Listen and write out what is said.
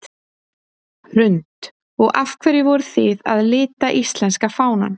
Hrund: Og af hverju voruð þið að lita íslenska fánann?